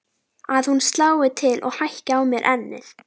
Að hún slái til og hækki á mér ennið.